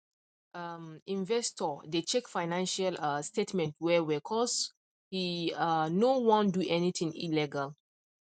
um investor dey check financial um statements well well cause he um no wan do anything illegal